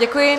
Děkuji.